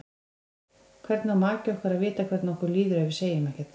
Hvernig á maki okkar að vita hvernig okkur líður ef við segjum ekkert?